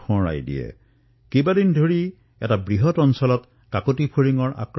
এই ফৰিঙৰ দলে বহু দিনলৈ আক্ৰমণ কৰে আৰু ব্যাপক ক্ষেত্ৰত ইয়াৰ প্ৰভাৱ পৰে